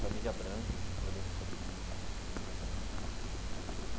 Família Branco, eu lembro o sobrenome dela, Família Branco.